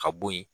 Ka bo yen